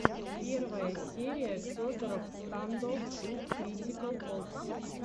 первая серия федороффф стандофф ту критикал опс